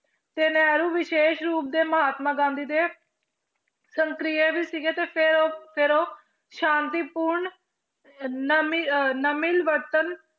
ਤੇ ਨਹਿਰੂ ਵਿਸ਼ੇਸ਼ ਰੂਪ ਦੇ ਮਹਾਤਮਾ ਗਾਂਧੀ ਦੇ ਵੀ ਸੀਗੇ ਤੇ ਫਿਰ ਉਹ ਫਿਰ ਉਹ ਸ਼ਾਂਤੀ ਪੂਰਨ ਅਹ ਨਾਮੀ ਅਹ ਨਾ ਮਿਲਵਰਤਨ